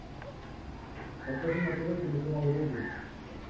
покажи на тв телеканал рубль